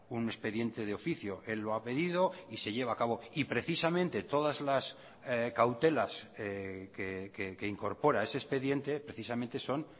un expediente de oficio él lo ha pedido y se lleva a cabo y precisamente todas las cautelas que incorpora ese expediente precisamente son